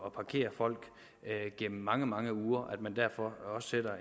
at parkere folk gennem mange mange uger og at man derfor også sætter